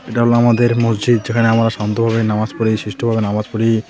এটা হল আমাদের মসজিদ যেখানে আমরা শান্তভাবে নামাজ পড়ি শিষ্টভাবে নামাজ পড়ি.